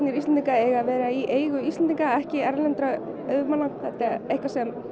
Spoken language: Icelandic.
Íslendinga eiga að vera í eigu Íslendinga ekki erlendra auðmanna þetta er eitthvað sem